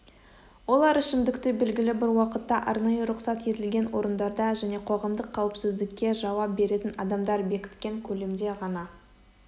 олар ішімдікті белгілі бір уақытта арнайы рұқсат етілген орындарда және қоғамдық қауіпсіздікке жауап беретін адамдар бекіткен көлемде ғана